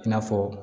I n'a fɔ